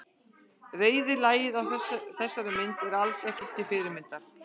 Reiðlagið á þessari mynd er alls ekki til fyrirmyndar.